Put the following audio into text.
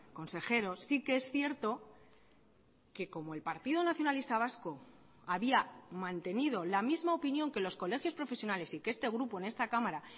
consejero sí que es cierto que como el partido nacionalista vasco había mantenido la misma opinión que los colegios profesionales y que este grupo en esta cámara